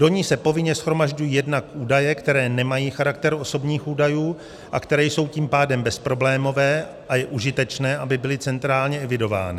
Do ní se povinně shromažďují jednak údaje, které nemají charakter osobních údajů, a které jsou tím pádem bezproblémové a je užitečné, aby byly centrálně evidovány.